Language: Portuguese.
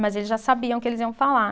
Mas eles já sabiam o que eles iam falar.